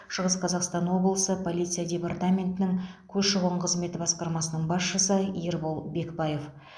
шығыс қазақстан облысы полиция департаментінің көші қон қызметіне басқармасының басшысы ербол бекпаев